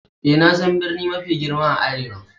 Eh, na san birni mafi girma a arewa.